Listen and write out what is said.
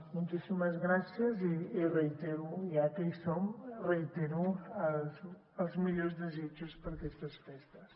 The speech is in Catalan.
moltíssimes gràcies i ja que hi som reitero els millors desitjos per a aquestes festes